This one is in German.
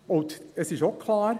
Und klar ist auch: